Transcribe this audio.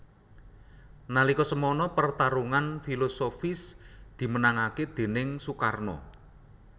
Nalika semana pertarungan filosofis dimenangaké déning Soekarno